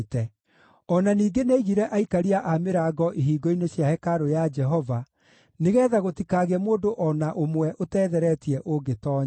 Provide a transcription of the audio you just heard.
O na ningĩ nĩaigire aikaria a mĩrango ihingo-inĩ cia hekarũ ya Jehova nĩgeetha gũtikagĩe mũndũ o na ũmwe ũtetheretie ũngĩtoonya.